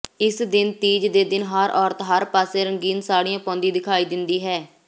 ਇਸ ਦਿਨ ਤੀਜ ਦੇ ਦਿਨ ਹਰ ਔਰਤ ਹਰ ਪਾਸੇ ਰੰਗੀਨ ਸਾੜ੍ਹੀਆਂ ਪਾਉਂਦੀ ਦਿਖਾਈ ਦਿੰਦੀ ਹੈ